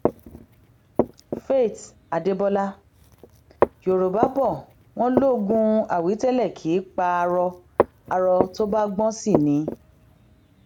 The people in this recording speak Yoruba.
faith adébọlá yorùbá bò wọn lógún àwítẹlẹ kì í pa aró aró tó bá gbọn sí ni